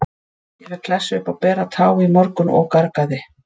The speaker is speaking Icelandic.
Ég fékk klessu upp á bera tá í morgun og gargaði.